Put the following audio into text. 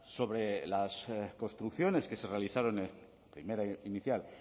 sobre las construcciones que se realizaron primera inicial